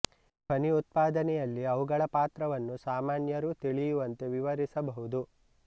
ಧ್ವನಿ ಉತ್ಪಾದನೆ ಯಲ್ಲಿ ಅವುಗಳ ಪಾತ್ರವನ್ನು ಸಾಮಾ ನ್ಯರು ತಿಳಿಯುವಂತೆ ವಿವರಿಸಬಹುದು